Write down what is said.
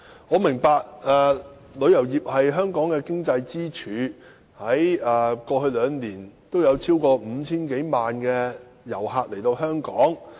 我明白旅遊業是香港的經濟支柱，過去兩年有超過 5,000 多萬名旅客訪港。